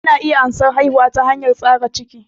Ana iya ansan haihuwa ta hanyar tsaga ciki